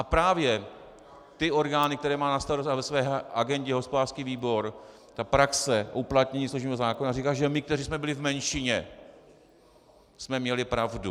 A právě ty orgány, které má na starosti a ve své agendě hospodářský výbor, ta praxe uplatnění služebního zákona říká, že my, kteří jsme byli v menšině, jsme měli pravdu.